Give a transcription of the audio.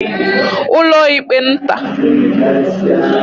ụlọịkpe nta